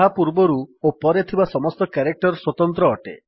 ତାହା ପୂର୍ବରୁ ଓ ପରେ ଥିବା ସମସ୍ତ କ୍ୟାରେକ୍ଟର୍ ସ୍ୱତନ୍ତ୍ର ଅଟେ